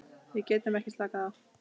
Við getum ekki slakað á.